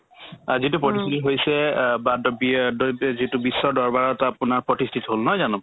আ যিটো প্ৰতিষ্ঠিতি হৈছে অ বাদ্য বিয় দ্যত যিটো বিশ্ব দৰবাৰত আপোনাৰ প্ৰতিষ্ঠিত হ'ল নহয় জানো